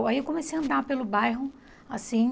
Aí eu comecei a andar pelo bairro, assim.